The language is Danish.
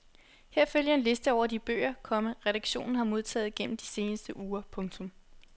Her følger en liste over de bøger, komma redaktionen har modtaget gennem de seneste uger. punktum